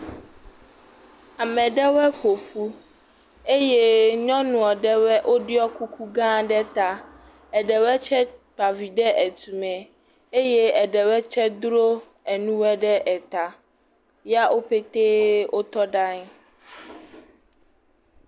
Ame ɖewo ƒoƒu eye nyɔnua ɖewo woɖɔ kuku gã ɖe ta. Eɖewoe tse kpa vi ɖe etume. Eye eɖewo tse dro enu woe ɖe eta ya wo pɛtɛ wotɔ ɖe anyi.